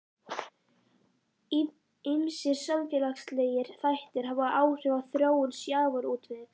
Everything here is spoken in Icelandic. Ýmsir samfélagslegir þættir hafa áhrif á þróun sjávarútvegs.